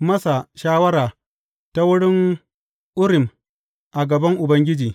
masa shawara ta wurin Urim a gaban Ubangiji.